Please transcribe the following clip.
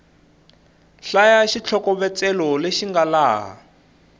hlaya xitlhokovetselo lexi nga laha